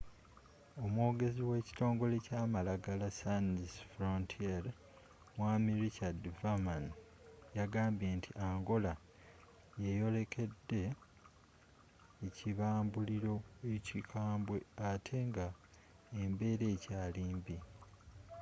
omwogezi we kitongole kya malagala sans frontiere mwami richard veerman yagambye nti angola yeyolekedde ekibambulilo ekikambe ate nga embera ekyali mbi